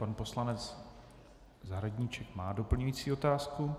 Pan poslanec Zahradníček má doplňující otázku.